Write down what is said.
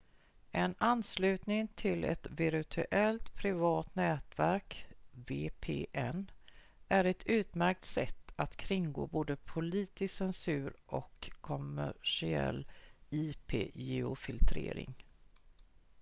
en anslutning till ett virtuellt privat nätverk vpn är ett utmärkt sätt att kringgå både politisk censur och kommersiell ip-geofiltrering